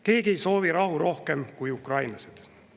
Keegi ei soovi rahu rohkem kui ukrainlased.